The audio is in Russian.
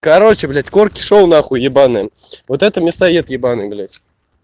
короче блядь корки шоу нахуй ебаные вот этот мясоед ебанный блядь